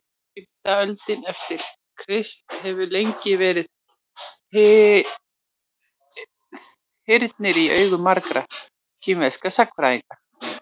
fimmta öldin eftir krist hefur lengi verið þyrnir í augum margra kínverskra sagnfræðinga